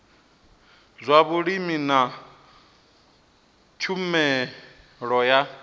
zwa vhulimi na tshumelo ya